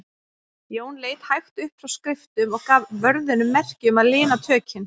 Jón leit hægt upp frá skriftum og gaf vörðunum merki um að lina tökin.